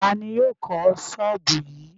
Ta ni yóò kọ́ ṣọ́ọ́bù yìí?